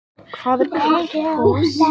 Vöfflujárnin heit í Karphúsinu